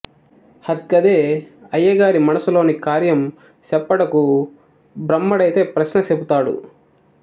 హద్గదే అయ్యగారి మనసులోని కార్యం సెప్పుడకు బ్రామ్మడైతే ప్రశ్న సెపుతడు